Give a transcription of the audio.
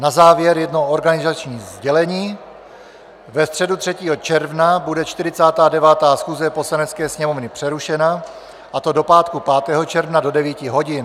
Na závěr jedno organizační sdělení: ve středu 3. června bude 49. schůze Poslanecké sněmovny přerušena, a to do pátku 5. června do 9 hodin.